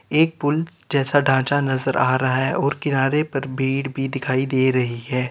एक पूल जैसा ढांचा नजर आ रहा है और किनारे पर भीड़ भी दिखाई दे रही है।